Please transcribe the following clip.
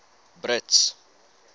brits